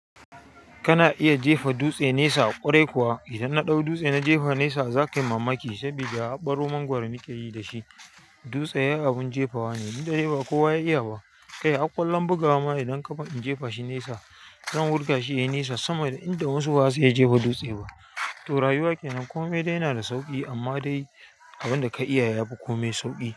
Kana iya jefa dutse nesa ƙwarai kuwa? Idan na ɗau dutse na jefa nesa zaka yi mamaki, saboda a ɓaro mangwaro mukeyi da shi. Dutse abun jefawa ne, dukda dai ba kowa ya iya ba. Kai har ƙwallon bugawa ma idan kaba in jefa shi nesa, zan wurga shi ya yi nesa sama da inda wasu ba su iya jefa dutse ba. To rayuwa kenan kome dai yana da sauƙi amma dai abin da ka iya ya yafi komai sauƙi.